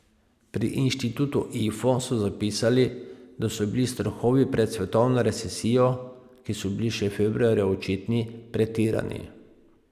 Pri inštitutu Ifo so zapisali, da so bili strahovi pred svetovno recesijo, ki so bili še februarja očitni, pretirani.